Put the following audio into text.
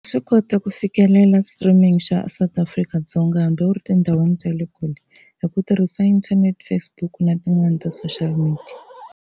Swi kota ku fikelela streaming xa South Afrika-Dzonga hambi u ri tindhawini ta le kule hi ku tirhisa internet Facebook na tin'wani ta social media.